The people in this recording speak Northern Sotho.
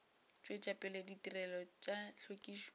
tšwetša pele ditirelo tša hlwekišo